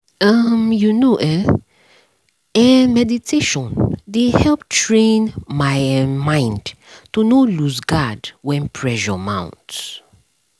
um you know [um][um]meditation dey help train my um mind to no lose guard when pressure mount